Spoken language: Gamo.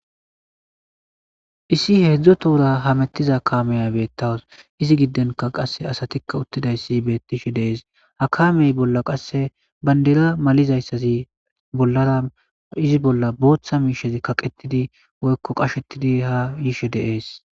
issi heedzdzo tuura hamettiza kaameya beettaws izi gidenka qasse asatikka uttidayssi beettishe deees ha kamey bolla qasse bandera malizayssazi bollara izi bolla booththa miishezi kaqetidi woykko qashetidi ha yishe deees